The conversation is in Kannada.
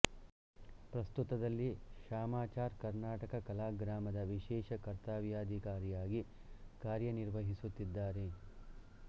ಪ್ರಸ್ತುತದಲ್ಲಿ ಶಾಮಾಚಾರ್ ಕರ್ನಾಟಕ ಕಲಾ ಗ್ರಾಮದ ವಿಶೇಷ ಕರ್ತವ್ಯಾಧಿಕಾರಿಯಾಗಿ ಕಾರ್ಯನಿರ್ವಹಿಸುತ್ತಿದ್ದಾರೆ